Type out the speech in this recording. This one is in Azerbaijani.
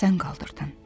Sən qaldırdın.